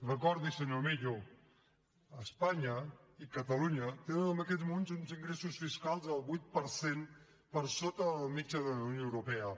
recordiho senyor millo espanya i catalunya tenen en aquests moments uns ingressos fiscals del vuit per cent per sota de la mitjana de la unió europea